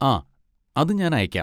ആ, അത് ഞാൻ അയക്കാം.